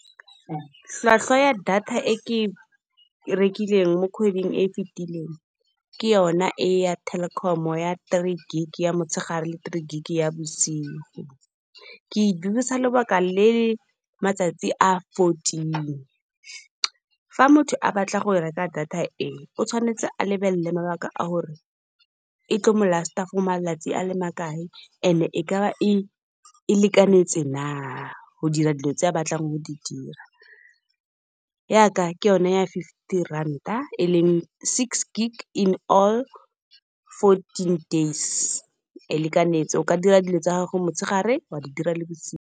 Tlhwatlhwa ya data e ke e rekileng mo kgweding e fitileng, ke yona e ya Telkom ya three gig ya motshegare le three gig ya bosigo. Ke e dirisa lebaka le matsatsi a fourteen, fa motho a batla go reka data e, o tshwanetse a lebelele mabaka a gore e tlo mo last-a for malatsi a le makae, and e kaba e lekanetse na. Go dira dilo tse a batlang go di dira, yaka ke yone ya fifty ranta e leng six gig in all fourteen days, e lekanetse o ka dira dilo tsa gago motshegare wa di dira le bosigo.